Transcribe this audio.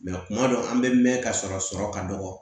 kuma dɔ an bɛ mɛn ka sɔrɔ sɔrɔ ka dɔgɔ